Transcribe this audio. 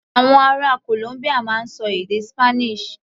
Àwọn ará Columbia máa ń ṣọ èdè Spanish.